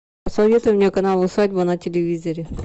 посоветуй мне канал усадьба на телевизоре